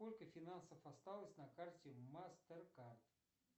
сколько финансов осталось на карте мастеркард